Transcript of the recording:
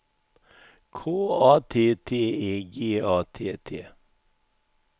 K A T T E G A T T